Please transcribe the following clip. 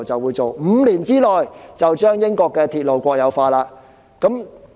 結果 ，5 年之內，他們便將英國的鐵路國有化。